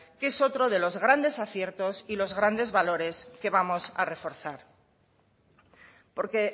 que es otro de los grandes aciertos y los grandes valores que vamos a reforzar porque